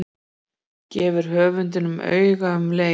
Gefur höfundinum auga um leið.